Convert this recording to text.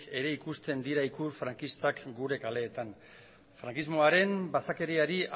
ere ikusten dira ikur frankistak gure kaleetan frankismoaren basakeriari